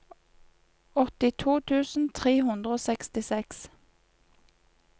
åttito tusen tre hundre og sekstiseks